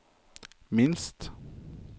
minst